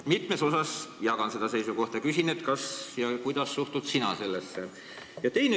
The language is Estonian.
Mitmes asjas ma jagan seda seisukohta ja küsin, kuidas sina sellesse suhtud.